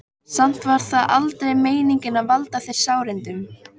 Samt var það aldrei meiningin að valda þér sárindum.